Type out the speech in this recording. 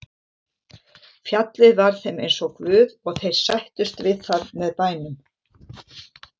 Fjallið var þeim eins og guð og þeir sættust við það með bænum.